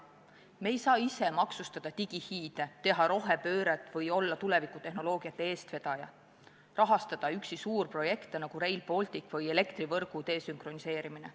Me ei saa ise maksustada digihiide, teha rohepööret või olla tulevikutehnoloogiate eestvedaja, rahastada üksi suurprojekte, nagu Rail Baltic või elektrivõrgu desünkroniseerimine.